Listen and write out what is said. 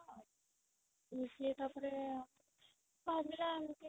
ସିଏ ତା ପରେ କାନ୍ଦିଲା ଏମିତି